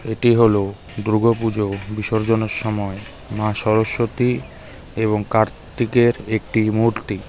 এটি হলো দূর্গাপুজো বিসর্জনের সময় মা সরস্বতী এবং কার্তিকের একটি মূর্তি .